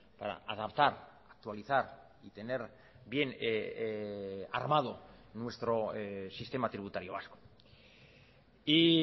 para adaptar actualizar y tener bien armado nuestro sistema tributario vasco y